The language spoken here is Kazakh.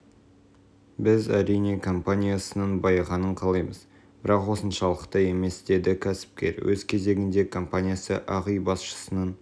біз әрине компаниясының байығанын қалаймыз бірақ осыншалықты емес деді кәсіпкер өз кезегінде компаниясы ақ үй басшысының